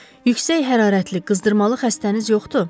Yüksək hərarətli qızdırmalı xəstəniz yoxdur?